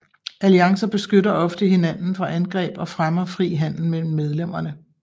Alliancer beskytter ofte hinanden fra angreb og fremmer fri handel mellem medlemmerne